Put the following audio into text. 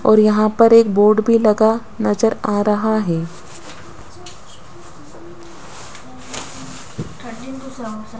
और यहां पर एक बोर्ड भी लगा नजर आ रहा है।